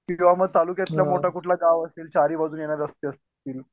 किंवा मग तालुक्यातला मोठा कोणता गाव असेल चारी बाजूने येणारे रस्ते असतील